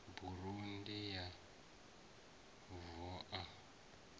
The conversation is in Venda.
burandi ya v o a